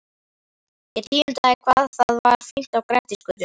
Ég tíundaði hvað það var fínt á Grettisgötu.